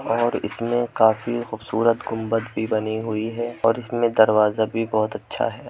और इसमें काफी खूबसूरत गुंबद भी बनी हुई है और इसमें दरवाजा भी बहोत अच्छा है।